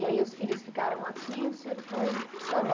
E aí os filhos ficaram aqui o senhor foi